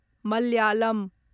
Malayalam